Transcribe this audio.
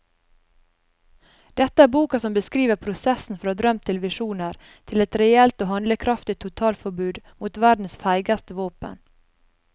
Dette er boka som beskriver prosessen fra drøm til visjoner til et reelt og handlekraftig totalforbud mot verdens feigeste våpen.